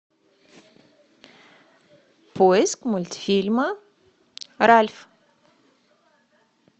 поиск мультфильма ральф